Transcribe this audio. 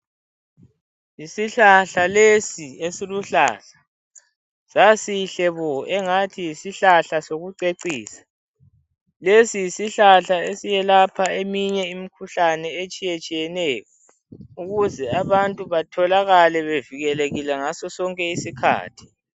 Yisihlahla lesi esiluhlaza, sasihle bo engathi yisihlahla sokucecisa. Lesi yisihlahla eselapha eminye imikhuhlane etshiyetshiyeneyo, ukuze abantu etholakale bavikelekeile ngaso sonke iskhathi.